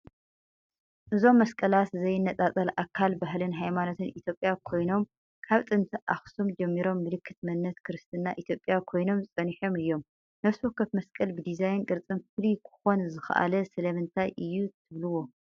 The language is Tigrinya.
እዞም መስቀላት ዘይነጻጸል ኣካል ባህልን ሃይማኖትን ኢትዮጵያ ኮይኖም፡ ካብ ጥንቲ ኣኽሱም ጀሚሮም ምልክት መንነት ክርስትና ኢትዮጵያ ኮይኖም ጸኒሖም እዮም። ነፍሲ ወከፍ መስቀል ብዲዛይንን ቅርጽን ፍሉይ ክኾን ዝኻኣለ ስለምንታይ እዩ ትብሉዎ?